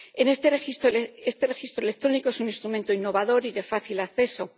Este registro electrónico es un instrumento innovador y de fácil acceso.